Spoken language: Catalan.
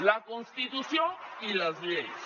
la constitució i les lleis